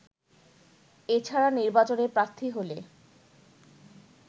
এছাড়া নির্বাচনে প্রার্থী হলে